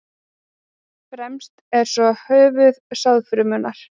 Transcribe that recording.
fremst er svo höfuð sáðfrumunnar